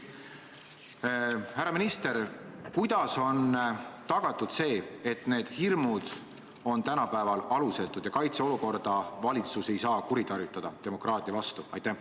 Härra minister, kuidas on tagatud see, et need hirmud oleksid tänapäeval alusetud ja et valitsus ei saaks kaitseolukorda kuritarvitada demokraatia vastu?